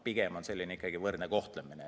Pigem on eesmärk ikkagi võrdne kohtlemine.